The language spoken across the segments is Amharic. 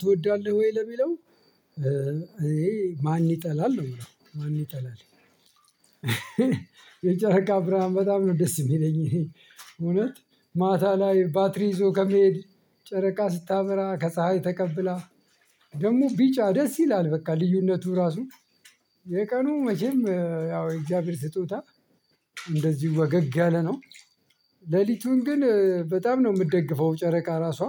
ትወዳለህ ወይ ለሚለው ይሄ ማን ይጠላል ነው የምለው ማን ይጠላል? የጨረቃ ብርሃን በጣም ነው ደስ የሚለኝ። እውነት ማታ ላይ ባትሪ ይዞ ከመሄድ ጨረቃ ስታበራ ከፀሀይ ተቀብላ ደግሞ ቢጫ ደስ ይላል። በቃ ልዩነቱ ራሱ የቀኑ መቼም ያው የእግዚአብሔር ስጦታ እንደዚሁ ወገግ ያለ ነው። ሌሊቱን ግን በጣም ነው የምትደግፈው ጨረቃ ራሷ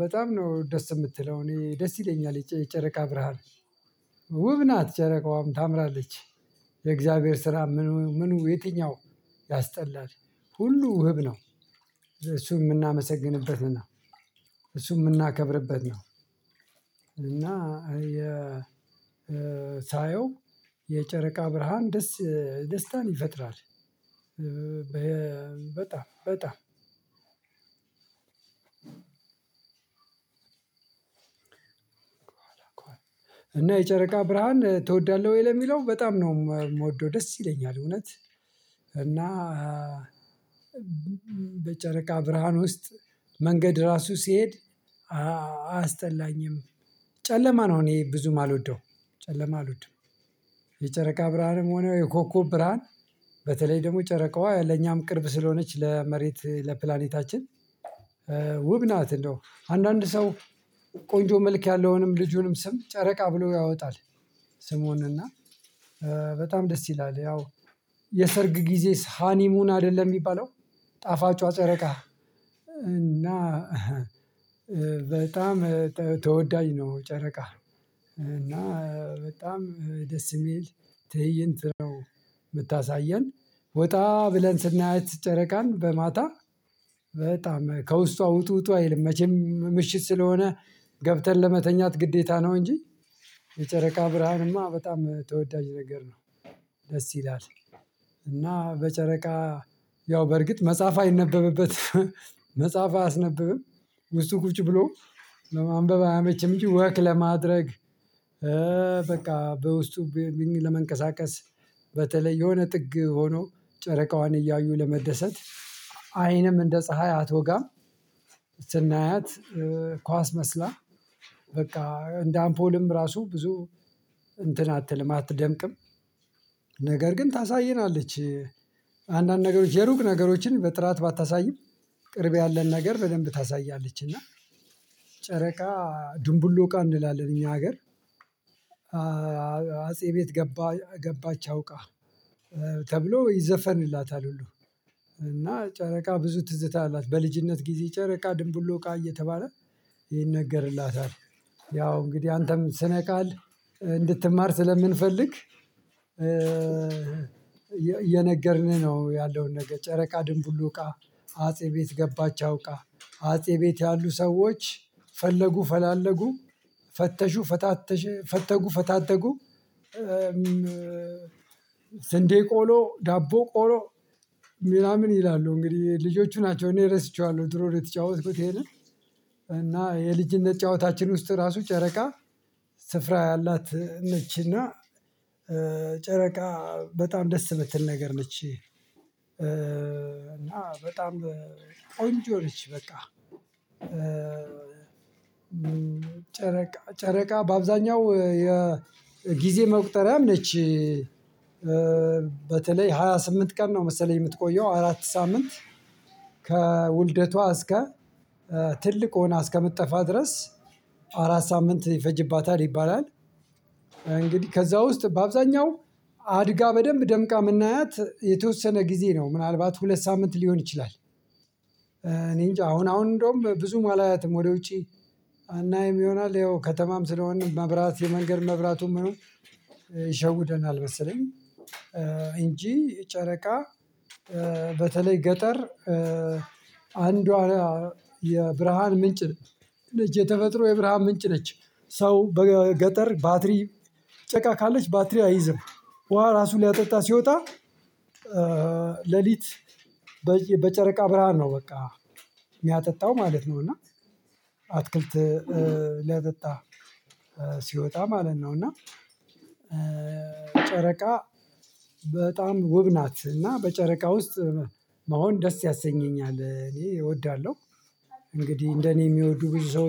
በጣም ነው ደስ የምትለው እኔ ደስ ይለኛል የጨረቃ ብርሃን። ውብ ናት ጨረቃዋም ታምራለች። የእግዚአብሔር ስራ ምኑ ምኑ የትኛው ያስጠላል? ሁሉ ውብ ነው። እሱን የምናመሰግንበት ነው። እሱን የምናከብርበት ነው። እና የ ሳየው የጨረቃ ብርሃን ደስ ደስታን ይፈጥራል። በጣም በጣም ከኋላ ከኋላ እና የጨረቃ ብርሃን ትወዳለህ ወይ ለሚለው በጣም ነው የምወደው። ደስ ይለኛል እውነት እና በጨረቃ ብርሃን ውስጥ መንገድ ራሱ ሲሄድ አያ አያስጠላኝም። ጨለማ ነው እኔ ብዙ ማልወደውም ጨለማ አልወድም። የጨረቃ ብርሃንም ሆነ የኮኮብ ብርሃን በተለይ ደግሞ ጨረቃዋ ለኛም ቅርብ ስለሆነች ለመሬት ለፕላኔታችን ውብ ናት። እንደው አንዳንድ ሰው ቆንጆ መልክ ያለውንም ልጁንም ስም ጨረቃ ብሎ ያወጣል። ስሙን እና በጣም ደስ ይላል። ያው የሰርግ ጊዜስ ሃኒሙን አይደለ የሚባለው ጣፋጯ ጨረቃ። እና በጣም ተወዳጅ ነው። ጨረቃ እና በጣም ደስ የሚል ትእይንት ነው። የምታሳየን ወጣ ብለን ስናያት ጨረቃን በማታ በጣም ከውስጧ ውጡ ውጡ አይልም መቼም ምሽት ስለሆነ ገብተን ለመተኛት ግዴታ ነው። እንጂ የጨረቃ ብርሃንማ በጣም ተወዳጅ ነገር ነው። ደስ ይላል። እና በጨረቃ ያው በርግጥ መጽሐፍ አይነበብበትም መጽሐፍ አያስነብብም ውስጡ ቁጭ ብሎ ለማንበብ አያመችም። እንጂ ወክ ለማድረግ። በቃ በውስጡ ለመንቀሳቀስ በተለይ የሆነ ጥግ ሆኖ ጨረቃዋን እያዩ ለመደሰት። አይንም እንደ ፀሀይ አትወጋም። ስናያት ኳስ መስላ በቃ እንደ አምፖልም ራሱ ብዙ እንትን አትልም አትደምቅም። ነገር ግን ታሳየናለች። አንዳንድ ነገሮች የሩቅ ነገሮችን በጥራት ባታሳይም ቅርብ ያለን ነገር በደንብ ታሳያለች። እና ጨረቃ ድንቡሎቃ እንላለን እኛ ሀገር። አጼ ቤት ገባ ገባች አውቃ ተብሎ ይዘፈንላታል። ሁሉ እና ጨረቃ ብዙ ትዝታ አላት በልጅነት ጊዜ ጨረቃ ድንብሎቃ እየተባለ ይነገርላታል። ያው እንግዲህ አንተም ስነ ቃል እንድትማር ስለምንፈልግ እየነገርንህ ነው። ያለውን ነገር ጨረቃ ድንቡሎቃ አጼ ቤት ገባቸው እውቃ አጼ ቤት ያሉ ሰዎች ፈለጉ ፈላለጉ ፈተሹ ፈታተሹ ፈተጉ ፈታተጉ። ስንዴ ቆሎ ዳቦ ቆሎ ምናምን ይላሉ እንግዲህ ልጆቹ ናቸው። እኔ ረስቸዋለሁ ድሮ ነው የተጫወትኩት ይሄንን። እና የልጅነት ጨዋታችን ውስጥ ራሱ ጨረቃ ስፍራ ያላት ነች። እና ጨረቃ በጣም ደስ ምትል ነገር ነች። እና በጣም ቆንጆ ነች። በቃ ጨረቃ በአብዛኛው የጊዜ መቁጠሪያ ነች። በተለይ ሃያ ስምንት ቀን ነው መሰለኝ የምትቆየው አራት ሳምንት ከውልደቷ እስከ ትልቅ ሆና እስከምትጠፋ ድረስ አራት ሳምንት ይፈጅባታል ይባላል። እንግዲህ ከዛ ውስጥ በአብዛኛው አድጋ በደንብ ደምቃ የምናያት የተወሰነ ጊዜ ነው ምናልባት ሁለት ሳምንት ሊሆን ይችላል። እኔ እንጃ አሁን አሁን እንደውም ብዙም አላያትም ወደ ውጪ አናይም ይሆናል ያው ከተማም ስለሆንን መብራት የመንገድ መብራቱም ምኑም ይሸውደናል መሰለኝ። እንጂ ጨረቃ በተለይ ገጠር አንዷ የብርሃን ምንጭ ነች የተፈጥሮ የብርሃን ምንጭ ነች። ሰው በገጠር ባትሪ ጨረቃ ካለች ባትሪ አይዝም ውሃ ራሱ ሊያጠጣ ሲወጣ። ሌሊት በጨረቃ ብርሃን ነው በቃ ሚያጠጣው ማለት ነው። እና አትክልት ሊያጠጣ ሲወጣ ማለት ነው። እና ጨረቃ በጣም ውብ ናት። እና በጨረቃ ውስጥ መሆን ደስ ያሰኘኛል እኔ እወዳለሁ። እንግዲህ እንደኔ የሚወዱ ብዙ ሰው